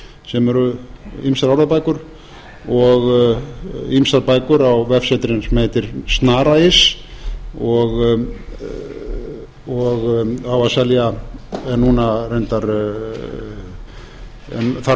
sem eru ýmsar orðabækur og ýmsar bækur á vefsetri sem heitir snara punktur is og á að selja núna reyndar þarf